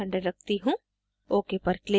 अब मैं इसे 300 रखती हूँ